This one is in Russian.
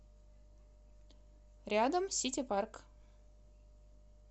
рядом сити парк